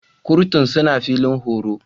Kurtun suna filin horo.